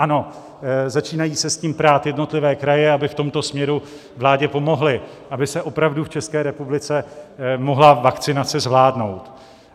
Ano, začínají se s tím prát jednotlivé kraje, aby v tomto směru vládě pomohly, aby se opravdu v České republice mohla vakcinace zvládnout.